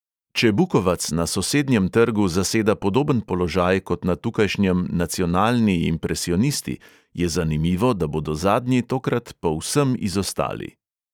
Če bukovac na sosednjem trgu zaseda podoben položaj kot na tukajšnjem nacionalni impresionisti, je zanimivo, da bodo zadnji tokrat povsem izostali.